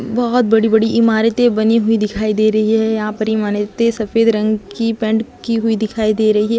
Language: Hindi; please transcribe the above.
बहुत बड़ी बड़ी इमारते बनी हुई दिखाई दे रही है यहाँ पे मने इत्ते सफ़ेद रंग की पेंट की हुई दिखाई दे रही है।